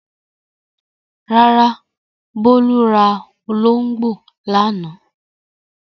Rárá, Bólú ra olóńgbò lánàá.